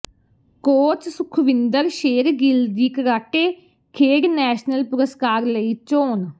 coach Sukhwinder Shergill ਦੀ karate ਖੇਡ national ਪੁਰਸਕਾਰ ਲਈ ਚੋਣ